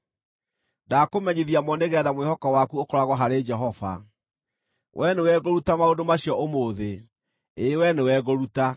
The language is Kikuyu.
Ndaakũmenyithia mo nĩgeetha mwĩhoko waku ũkoragwo harĩ Jehova, wee nĩwe ngũruta maũndũ macio ũmũthĩ, ĩĩ wee nĩwe ngũruta.